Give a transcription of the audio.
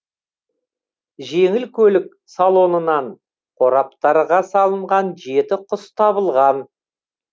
жеңіл көлік салонынан қораптарға салынған жеті құс табылған